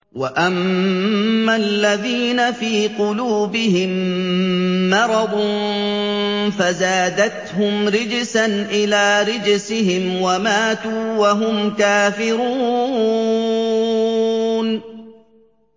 وَأَمَّا الَّذِينَ فِي قُلُوبِهِم مَّرَضٌ فَزَادَتْهُمْ رِجْسًا إِلَىٰ رِجْسِهِمْ وَمَاتُوا وَهُمْ كَافِرُونَ